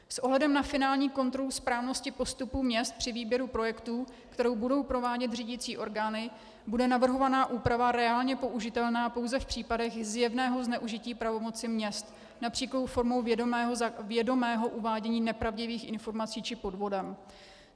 S ohledem na finální kontrolu správnosti postupu měst při výběru projektů, kterou budou provádět řídicí orgány, bude navrhovaná úprava reálně použitelná pouze v případech zjevného zneužití pravomoci měst, například formou vědomého uvádění nepravdivých informací či podvodem.